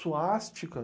Suástica?